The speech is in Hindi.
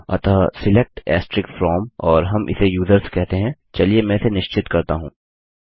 अतः सिलेक्ट फ्रॉम और हम इसे यूजर्स कहते हैं चलिए मैं इसे निश्चित करता हूँ